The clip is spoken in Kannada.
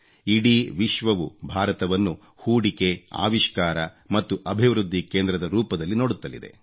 ಇಡೀ ವಿಶ್ವವು ಭಾರತವನ್ನು ಹೂಡಿಕೆ ಅವಿಷ್ಕಾರ ಮತ್ತು ಅಭಿವೃದ್ಧಿ ಕೇಂದ್ರದ ರೂಪದಲ್ಲಿ ನೋಡುತ್ತಲಿದೆ